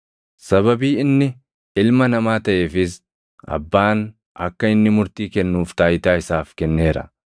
Sababii inni Ilma Namaa taʼeefis Abbaan akka inni murtii kennuuf taayitaa isaaf kenneera.